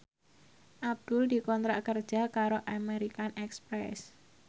Abdul dikontrak kerja karo American Express